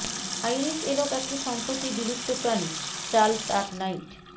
Irish elk একটি সম্প্রতি বিলুপ্ত প্রাণী চার্লস আর নাইট